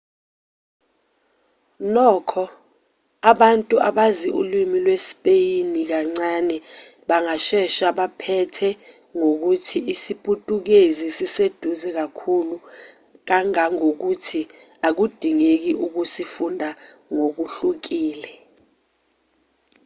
nokho abantu abazi ulimi lwesipeyini kancane bangashesha baphethe ngokuthi isiputukezi siseduze kakhulu kangangokuthi akudingeki ukusifunda ngokuhlukile